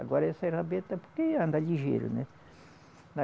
Agora essa rabeta, porque anda ligeiro, né?